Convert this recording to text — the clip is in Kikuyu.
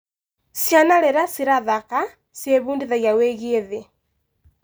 Ciana rĩrĩa cirathaka, ciebundithagia wĩgiĩ thĩ.